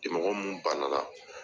mɔgɔ minnu bannala.